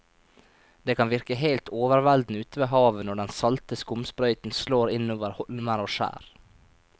Det kan virke helt overveldende ute ved havet når den salte skumsprøyten slår innover holmer og skjær.